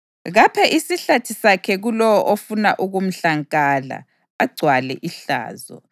Kaphe isihlathi sakhe kulowo ofuna ukumhlankala, agcwale ihlazo.